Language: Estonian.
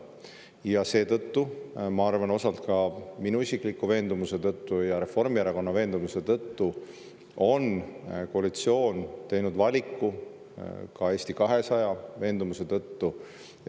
Ja seetõttu, ma arvan, osalt ka minu isikliku veendumuse tõttu ja Reformierakonna veendumuse tõttu, ka Eesti 200 veendumuse tõttu, on koalitsioon teinud valiku.